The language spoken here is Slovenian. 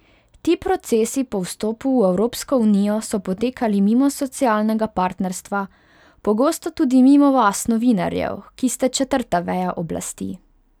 Ti procesi po vstopu v Evropsko unijo so potekali mimo socialnega partnerstva, pogosto tudi mimo vas, novinarjev, ki ste četrta veja oblasti.